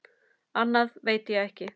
Annað veit ég ekki.